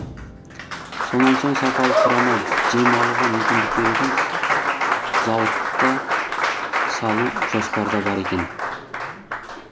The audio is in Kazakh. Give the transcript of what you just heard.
сонан соң сапалы құрама жем алуға мүмкіндік беретін зауыт та салу жоспарда бар екен